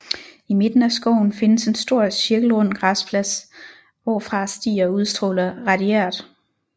I midten af skoven findes en stor cirkelrund græsplads hvorfra stier udstråler radiært